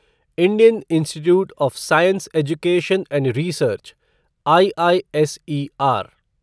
Indian institute of science education and research IISER